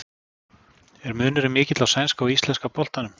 Er munurinn mikill á sænska og íslenska boltanum?